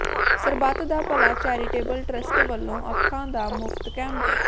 ਸਰਬੱਤ da Bhala charitable trust ਵੱਲੋਂ ਅੱਖਾਂ ਦਾ ਮੁਫ਼ਤ ਕੈਂਪ